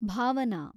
Bhavana